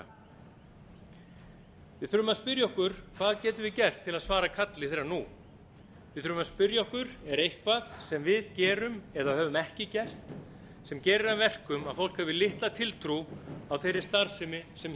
verka við þurfum að spyrja okkur hvað getum við gert til að svara kalli þess nú við þurfum að spyrja okkur er eitthvað sem við gerum eða höfum ekki gert sem gerir að verkum að fólk hefur litla tiltrú á þeirri starfsemi sem